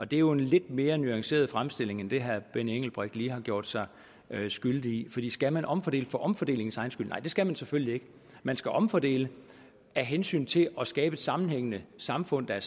det er jo en lidt mere nuanceret fremstilling end den herre benny engelbrecht lige har gjort sig skyldig i skal man omfordele for omfordelingens egen skyld nej det skal man selvfølgelig ikke man skal omfordele af hensyn til at skabe et sammenhængende samfund der